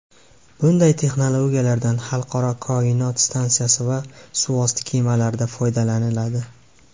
Bunday texnologiyalardan Xalqaro koinot stansiyasi va suvosti kemalarida foydalaniladi.